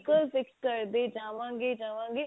ਪਰ fix ਕਰਦੇ ਜਾਵਾਂਗੇ ਜਾਵਾਂਗੇ